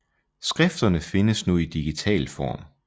Skrifterne findes nu i digital form